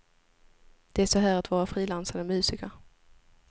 Det är så här att vara frilansande musiker.